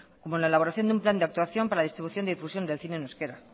como la elaboración de un plan de actuación para la distribución y difusión del cine en euskera